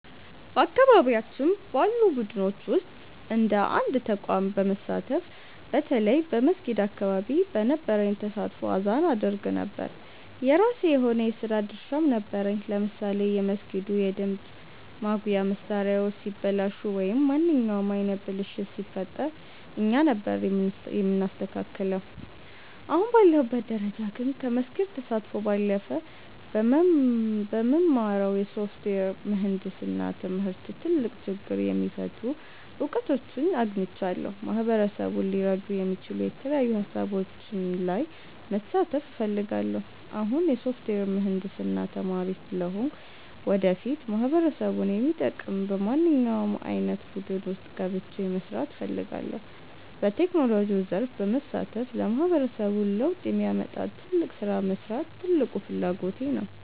በአካባቢያችን ባሉ ቡድኖች ውስጥ እንደ አንድ ተቋም በመሳተፍ፣ በተለይ በመስጊድ አካባቢ በነበረኝ ተሳትፎ አዛን አደርግ ነበር። የራሴ የሆነ የሥራ ድርሻም ነበረኝ፤ ለምሳሌ የመስጊዱ የድምፅ ማጉያ መሣሪያዎች ሲበላሹ ወይም ማንኛውም ዓይነት ብልሽት ሲፈጠር እኛ ነበርን የምናስተካክለው። አሁን ባለሁበት ደረጃ ግን፣ ከመስጊድ ተሳትፎ ባለፈ በምማረው የሶፍትዌር ምህንድስና ትምህርት ትልቅ ችግር የሚፈቱ እውቀቶችን አግኝቻለሁ። ማህበረሰቡን ሊረዱ የሚችሉ የተለያዩ ሃሳቦች ላይ መሳተፍ እፈልጋለሁ። አሁን የሶፍትዌር ምህንድስና ተማሪ ስለሆንኩ፣ ወደፊት ማህበረሰቡን የሚጠቅም በማንኛውም ዓይነት ቡድን ውስጥ ገብቼ መሥራት እፈልጋለሁ። በቴክኖሎጂው ዘርፍ በመሳተፍ ለማህበረሰቡ ለውጥ የሚያመጣ ትልቅ ሥራ መሥራት ትልቁ ፍላጎቴ ነው።